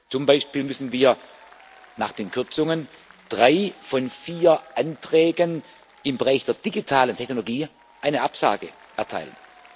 Zum Beispiel müssen wir nach den Kürzungen drei von vier Anträgen im Bereich der digitalen Technologie eine Absage erteilen.